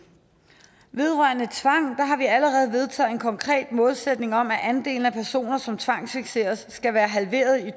vedrørende tvang har vi allerede vedtaget en konkret målsætning om at andelen af personer som tvangsfikseres skal være halveret i